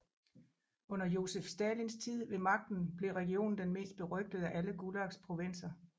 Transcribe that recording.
Under Josef Stalins tid ved magten blev regionen den mest berygtede af Gulags provinser